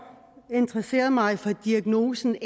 interesseret mig for diagnosen